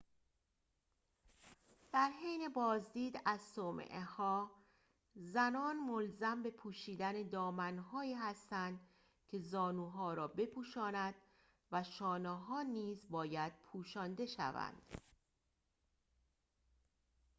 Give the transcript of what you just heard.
در حین بازدید از صومعه‌ها زنان ملزم به پوشیدن دامن‌هایی هستند که زانوها را بپوشاند و شانه‌ها نیز باید پوشانده شوند